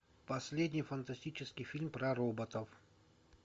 последний фантастический фильм про роботов